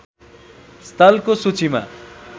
स्थलको सुचीमा